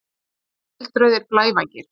Tveir eldrauðir blævængir!